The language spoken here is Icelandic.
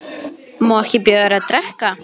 Má ekki bjóða þér að drekka?